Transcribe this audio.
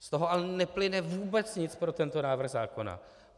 Z toho ale neplyne vůbec nic pro tento návrh zákona.